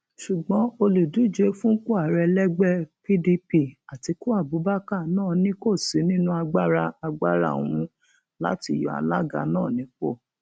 ṣùgbọn olùdíje fúnpọ ààrẹ lẹgbẹ pdp atiku abubakar náà ni kò sí nínú agbára agbára òun láti yọ alága náà nípò